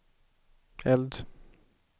eld